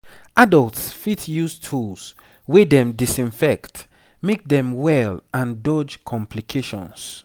adults fit use tools wey dem disinfect make dem well and dodge complications